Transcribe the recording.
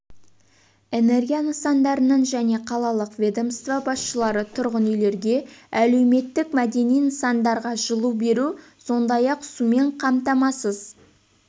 энергия нысандарының және қалалық ведомство басшылары тұрғын үйлерге әлеуметтік-мәдени нысандарға жылу беру сондай-ақ сумен қамтамасыз